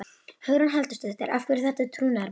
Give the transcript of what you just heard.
Hugrún Halldórsdóttir: Af hverju er þetta trúnaðarmál?